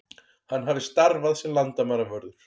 Hann hafi starfað sem landamæravörður